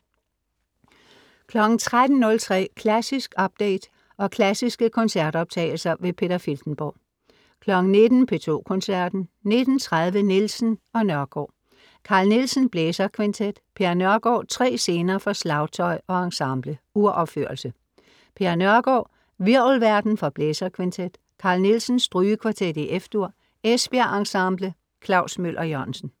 13.03 Klassisk update, og klassiske koncertoptagelser. Peter Filtenborg 19.00 P2 Koncerten. 19.30 Nielsen og Nørgåd. Carl Nielsen: Blæserkvintet. Per Nørgård: Tre Scener for slagtøj og ensemble (Uropførelse). Per Nørgård: Hvirvelverden for blæserkvintet. Carl Nielsen: Strygekvartet, F-dur. Esbjerg Ensemble. Klaus Møller-Jørgensen